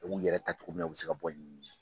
U b'u yɛrɛ ta cogo min na u bɛ se ka bɔ ni